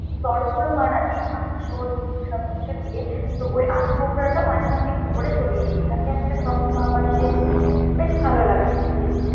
স্তরগুলো বানাবি, মাংস ডিম সবকিছু দিয়ে, তো ওই আলু বোখরাটা মাঝে মাঝে একটু করে ছড়িয়ে দিবি, তাতে একটা টক ভাব আসে, বেশ ভালো লাগে।